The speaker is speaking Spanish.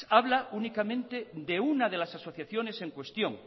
habla únicamente de una de las asociaciones en cuestión